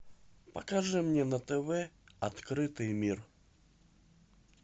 покажи мне на тв открытый мир